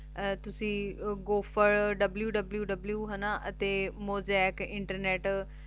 ਆ ਤੁਸੀਂ go for www ਹੈ ਨਾ ਤੇ mozaik